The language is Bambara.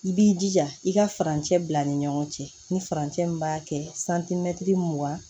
I b'i jija i ka farancɛ bila ni ɲɔgɔn cɛ ni farancɛ min b'a kɛ santimɛtiri mugan